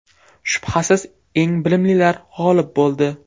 Shubhasiz, eng bilimlilar g‘olib bo‘ldi.